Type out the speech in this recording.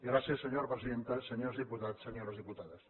gràcies senyora presidenta senyors diputats senyores diputades